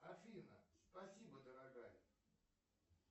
афина спасибо дорогая